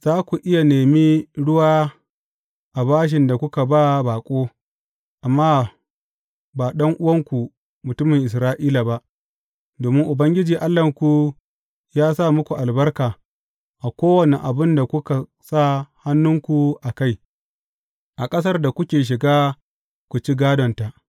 Za ku iya nemi ruwa a bashin da kuka ba baƙo, amma ba ɗan’uwanku mutumin Isra’ila ba, domin Ubangiji Allahnku yă sa muku albarka a kowane abin da kuka sa hannunku a kai, a ƙasar da kuke shiga ku ci gādonta.